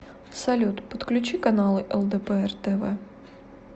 салют подключи каналы лдпр тв